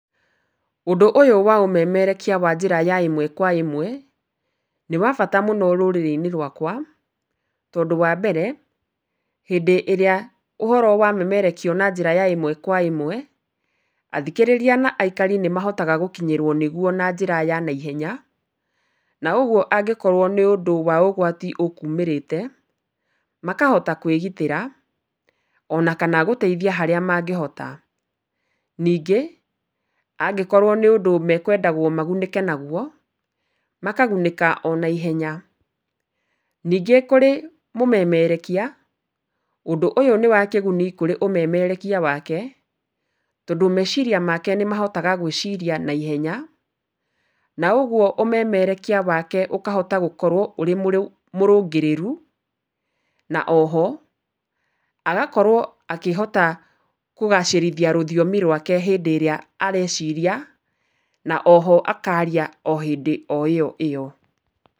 Ũndũ ũyũ wa ũmemerekia wa njĩra ya ĩmwe kwa ĩmwe nĩ wa bata mũno rũrĩrĩ-inĩ rwakwa tondũ wa mbere, hĩndĩ ĩrĩa ũhoro wamemerekio na njĩra ya ĩmwe kwa ĩmwe, athikĩrĩria na aikari nĩ mahotaga gũkinyĩrwo nĩguo na njĩra ya naihenya. Na ũguo angĩkorwo nĩ ũndũ wa ũgwati ũkumĩrĩte, makahota kwĩgitĩra ona kana gũteithia harĩa mangĩhota. Ningĩ angĩkorwo nĩ ũndũ mekwendagwo magunĩke naguo, makagunĩka o naihenya. Ningĩ kũrĩ mũmemerĩkia, ũndũ ũyũ nĩ wa kĩguni kũrĩ ũmemerekia wake, tondũ meciria make nĩ mahotaga gwĩciria naihenya. Na ũguo ũmemerekia wake ũkahota gũkorwo ũrĩ mũrũngĩrĩru. Na oho, agakorwo akĩhota kũgacĩrithia rũthiomi rwake hĩndĩ ĩrĩa areciria, na oho akaaria o hĩndĩ o ĩo ĩo.